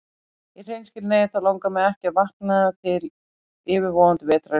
Í hreinskilni þá langar mig ekki að vakna til yfirvofandi vetrar í fyrramálið.